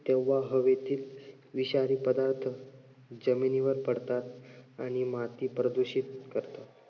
तेव्हा हवेतील विषारी पदार्थ जमिनीवर पडतात आणि माती प्रदूषित करतात.